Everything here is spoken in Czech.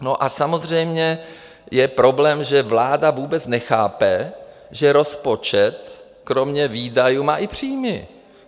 No a samozřejmě je problém, že vláda vůbec nechápe, že rozpočet kromě výdajů má i příjmy.